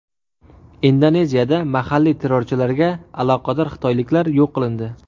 Indoneziyada mahalliy terrorchilarga aloqador xitoyliklar yo‘q qilindi.